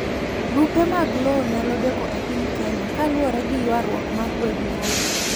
Brupe mag lowo nyalodeko epiny Kenya kaluwore giyuaruok mag weg lowo.